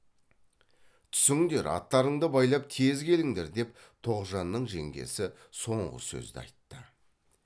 түсіңдер аттарыңды байлап тез келіңдер деп тоғжанның жеңгесі соңғы сөзді айтты